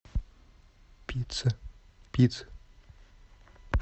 пицца пицца